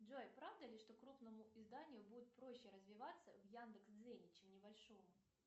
джой правда ли что крупному изданию будет проще развиваться в яндекс дзене чем небольшому